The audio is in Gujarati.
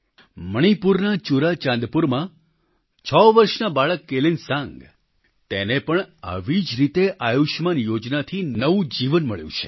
મણિપુરના ચુરાચાંદપુરમાં છ વર્ષના બાળક કેલેનસાંગ તેને પણ આવી જ રીતે આયુષ્યમાન યોજનાથી નવું જીવન મળ્યું છે